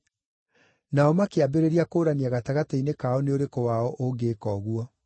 Nao makĩambĩrĩria kũũrania gatagatĩ-inĩ kao nĩ ũrĩkũ wao ũngĩka ũguo.